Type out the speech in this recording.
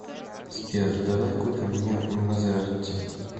сбер давай купим мне мазератти